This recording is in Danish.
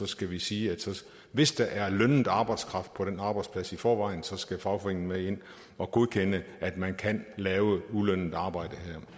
skal vi sige at hvis der er lønnet arbejdskraft på den arbejdsplads i forvejen skal fagforeningen med ind og godkende at man kan lave ulønnet arbejde